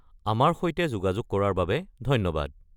আমাৰ সৈতে যোগাযোগ কৰাৰ বাবে ধন্যবাদ।